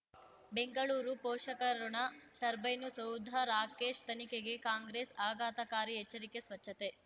ಬೆಂಗಳೂರು ಪೋಷಕರಋಣ ಟರ್ಬೈನು ಸೌಧ ರಾಕೇಶ್ ತನಿಖೆಗೆ ಕಾಂಗ್ರೆಸ್ ಆಘಾತಕಾರಿ ಎಚ್ಚರಿಕೆ ಸ್ವಚ್ಛತೆ